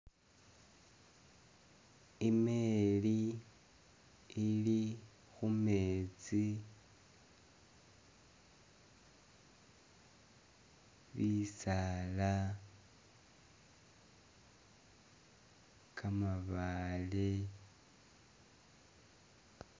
Imeli ili khu'metsi, bisaala, kamabaale